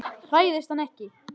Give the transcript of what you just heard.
Hræðist hann ekki.